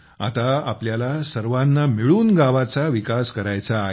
आता आपल्याला सर्वांना मिळून गावाचा विकास करायचा आहे